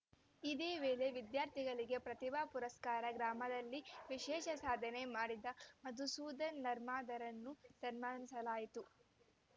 ಇದೇ ವೇಳೆ ವಿದ್ಯಾರ್ಥಿಗಳಿಗೆ ಪ್ರತಿಭಾ ಪುರಸ್ಕಾರ ಗ್ರಾಮದಲ್ಲಿ ವಿಶೇಷ ಸಾಧನೆ ಮಾಡಿದ ಮಧುಸೂಧನ್‌ ನರ್ಮದಾರನ್ನು ಸನ್ಮಾನಿಸಲಾಯಿತು